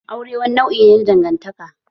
Aure wani nau'i ne na dangantaka.